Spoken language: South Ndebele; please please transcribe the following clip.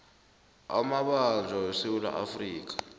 amabanjwa wesewula afrika